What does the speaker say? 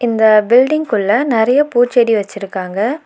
இந்த பில்டிங்குள்ள நெறைய பூச்செடி வெச்சிருக்காங்க.